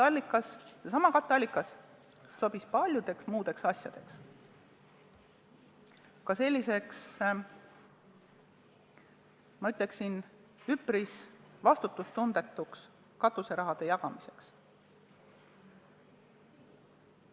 Aga seesama katteallikas sobis paljudeks muudeks asjadeks, ka selliseks, ma ütleksin, üpris vastutustundetuks katuseraha jagamiseks.